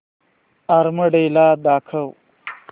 army day मला दाखव